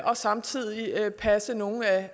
og samtidig passe nogle af